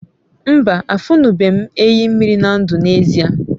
mba, afunube m enyi mmiri na ndu n'ezie